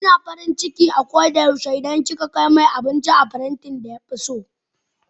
Yana farin ciki a koda yaushe idan kika kai masa abinci da farantin da ya fi so.